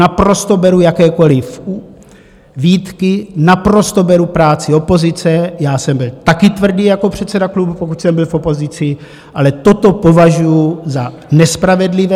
Naprosto beru jakékoliv výtky, naprosto beru práci opozice, já jsem byl taky tvrdý jako předseda klubu, pokud jsem byl v opozici, ale toto považuju za nespravedlivé.